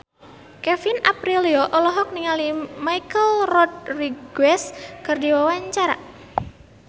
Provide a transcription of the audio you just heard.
Kevin Aprilio olohok ningali Michelle Rodriguez keur diwawancara